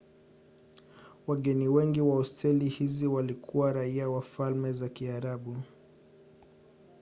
wageni wengi wa hosteli hizo walikuwa raia wa falme za kiarabu